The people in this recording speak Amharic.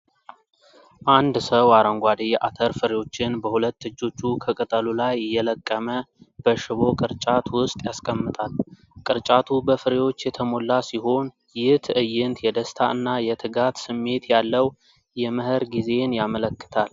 አንድ ሰው አረንጓዴ የአተር ፍሬዎችን በሁለት እጆቹ ከቅጠሉ ላይ እየለቀመ በሽቦ ቅርጫት ውስጥ ያስቀምጣል። ቅርጫቱ በፍሬዎች የተሞላ ሲሆን፣ ይህ ትዕይንት የደስታ እና የትጋት ስሜት ያለው የመኸር ጊዜን ያመለክታል።